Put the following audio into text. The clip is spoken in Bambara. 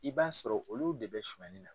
I b'a sɔrɔ olu de bɛ sunyɛni nin na